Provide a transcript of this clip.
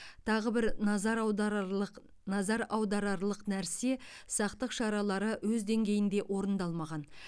тағы бір назар аударарлық назар аударарлық нәрсе сақтық шаралары өз деңгейінде орындалмаған